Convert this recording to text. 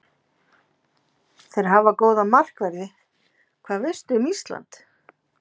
Þeir hafa góða markverði Hvað veistu um Ísland?